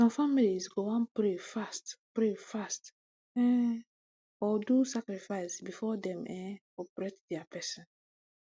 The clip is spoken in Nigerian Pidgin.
some families go wan pray fast pray fast um or do sacrifice before dem[um]operate dia person